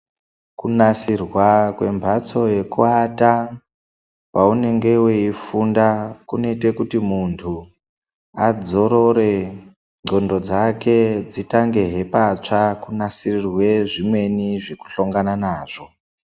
Kunasirwa kwembatso yekuata kwaunenge weifunda kunoite kuti muntu adzorore ndxondo dzake dzitangehe patsva kunatsirirwe zvimweni zvekuhlongana nazvo.